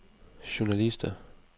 journalister